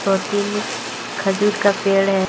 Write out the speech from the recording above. और तीन खजूर का पेड़ है।